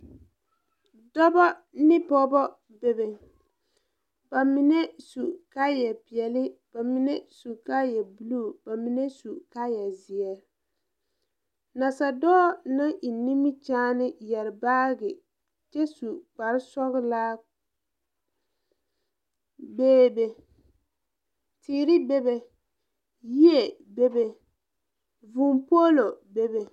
Dobɔ ne pɔɔbɔ bebe ba mine su kaayɛ peɛɛli ba mine su kaayɛ bluu ba mine su kaayɛ zeɛ nasadɔɔ naŋ eŋ nimikyaane yɛre baagi kyɛ su kparesɔglaa bee be teere bebe yie bebe vūū poolo bebe.